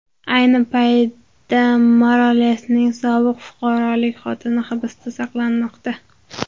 Ayni paytda Moralesning sobiq fuqarolik xotini hibsda saqlanmoqda.